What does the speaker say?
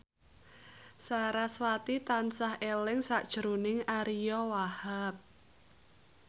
sarasvati tansah eling sakjroning Ariyo Wahab